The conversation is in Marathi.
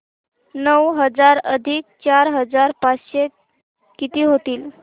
नऊ हजार अधिक चार हजार पाचशे किती होतील